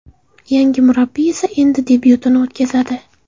Yangi murabbiy esa endi debyutini o‘tkazadi.